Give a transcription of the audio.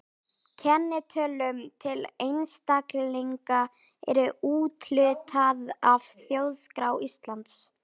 Kennitölum til einstaklinga er úthlutað af Þjóðskrá Íslands.